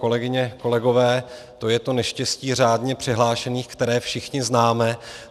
Kolegyně, kolegové, to je to neštěstí řádně přihlášených, které všichni známe.